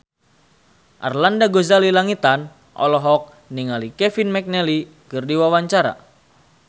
Arlanda Ghazali Langitan olohok ningali Kevin McNally keur diwawancara